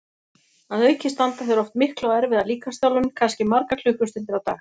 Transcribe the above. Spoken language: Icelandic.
Að auki stunda þeir oft mikla og erfiða líkamsþjálfun, kannski margar klukkustundir á dag.